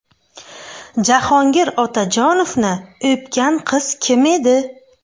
Jahongir Otajonovni o‘pgan qiz kim edi?